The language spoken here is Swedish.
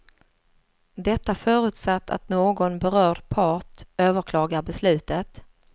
Detta förutsatt att någon berörd part överklagar beslutet.